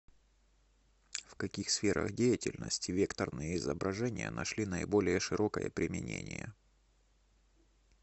в каких сферах деятельности векторные изображения нашли наиболее широкое применение